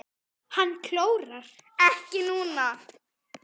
Hann klórar ekki núna.